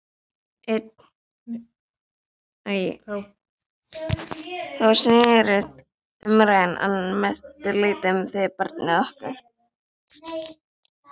Þá snerist umræðan að mestu leyti um þig, barnið okkar.